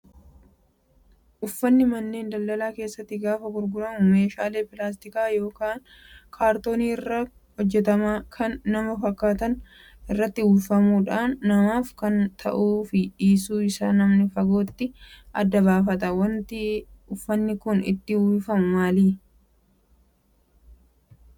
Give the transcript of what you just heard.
Uffanni manneen daldalaa keessatti gaafa gurguramu meeshaalee pilaastika yookaan kaartoonii irraa hojjataman kan nama fakkaatan irratti uwwifamuudhaan namaaf ta'uu fi dhiisuu isaa namni fagootti adda baafata. Wanti uffanni kun itti uwwifamu maali?